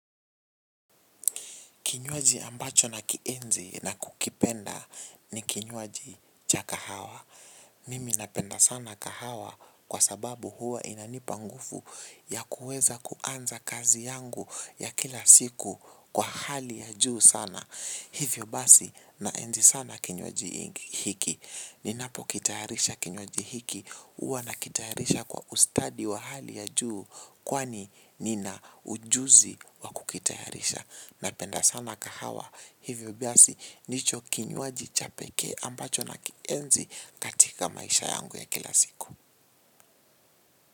Kinywaji ambacho na kienzi na kukipenda ni kinywaji cha kahawa. Mimi napenda sana kahawa kwa sababu huwa inanipa nguvu ya kuweza kuanza kazi yangu ya kila siku kwa hali ya juu sana. Hivyo basi na enzi sana kinywaji hiki. Ninapo kitayarisha kinywaji hiki huwa na kitayarisha kwa ustadi wa hali ya juu kwani nina ujuzi wa kukitayarisha. Napenda sana kahawa hivyo biasi ndicho kinywaji cha pekee ambacho na kienzi katika maisha yangu ya kila siku.